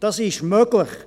Das ist möglich.